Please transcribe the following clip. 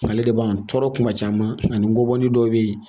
Ale de b'an tɔɔrɔ kuma caman ani ngɔbɔni dɔ bɛ yen